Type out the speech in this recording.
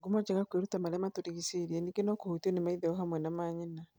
Ngumo njega kwĩruta marĩa matugĩshĩriĩ ningĩ no kũhutio nĩ maithe o hamwe na maanyina.